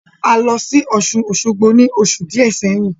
A lọ sí Ọ̀ṣun-Osogbo ní oṣù díẹ̀ sẹ́yìn